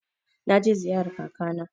Na je ziyarar kaka na.